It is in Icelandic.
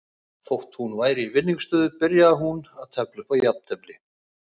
Þótt hún væri í vinningsstöðu byrjaði hún að tefla upp á jafntefli.